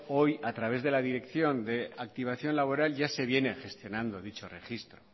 hoy a través de la dirección de activación laboral ya se viene gestionando dicho registro